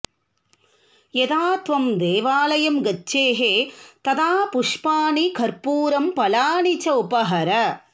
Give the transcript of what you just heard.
यदा त्वम् देवालयम् गच्छेः तदा पुष्पाणि कर्पूरम् फलानि च उपहर